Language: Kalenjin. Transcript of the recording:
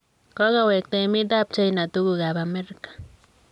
Kogowegta emet ab China tuguuk ab America.